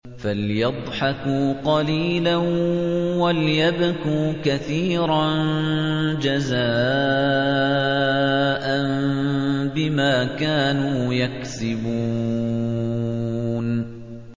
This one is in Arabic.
فَلْيَضْحَكُوا قَلِيلًا وَلْيَبْكُوا كَثِيرًا جَزَاءً بِمَا كَانُوا يَكْسِبُونَ